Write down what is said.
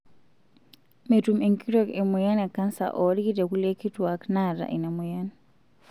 Metum enkitok emoyian e kansa oolki te kulie kituaak naata ina moyian.